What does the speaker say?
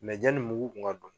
yani mugu kun ka don.